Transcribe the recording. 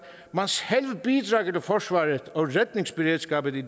at forsvaret og redningsberedskabet i